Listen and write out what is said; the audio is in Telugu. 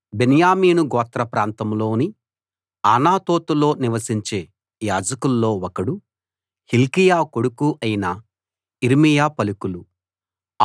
బెన్యామీను గోత్ర ప్రాంతంలోని అనాతోతులో నివసించే యాజకుల్లో ఒకడు హిల్కీయా కొడుకు అయిన యిర్మీయా పలుకులు